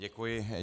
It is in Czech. Děkuji.